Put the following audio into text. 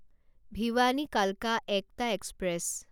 ভিৱানী কালকা একটা এক্সপ্ৰেছ